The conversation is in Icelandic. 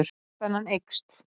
Vöðvaspenna eykst.